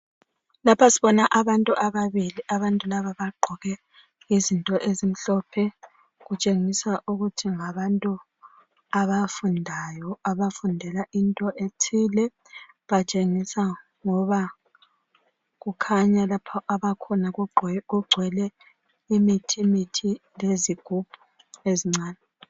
Lapha sibona abantu ababili, abantu laba bagqoke izinto ezimhlophe , okutshengisa ukuthi ngabantu abafundayo abafundela into ethile , batshengisa ngoba kukhanya lapha abakhona kugcwele imithimithi lezigubhu ezincane